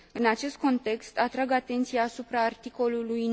În acest context, atrag atenția asupra articolului